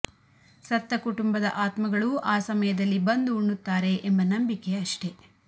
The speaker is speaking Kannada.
ಸತ್ತ ಕುಟುಂಬದ ಆತ್ಮಗಳು ಆ ಸಮಯದಲ್ಲಿ ಬಂದು ಉಣ್ಣುತ್ತಾರೆ ಎಂಬ ನಂಬಿಕೆ ಅಷ್ಟೆ